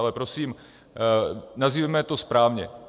Ale prosím, nazývejme to správně.